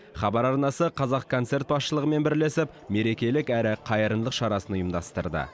хабар арнасы қазақконцерт басшылығымен бірлесіп мерекелік әрі қайырымдылық шарасын ұйымдастырды